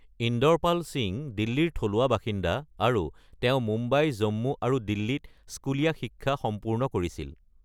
ইন্দৰপাল সিং দিল্লীৰ থলুৱা বাসিন্দা আৰু তেওঁ মুম্বাই, জম্মু, আৰু দিল্লীত স্কুলীয়া শিক্ষা সম্পূৰ্ণ কৰিছিল।